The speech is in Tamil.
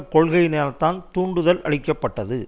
கொள்கையினால் தான் தூண்டுதலளிக்கப்பட்டது